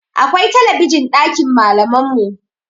Akwai talabijin ɗakin malaman mu